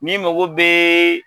Ni mago bee